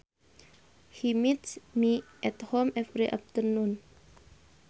He meets me at home every afternoon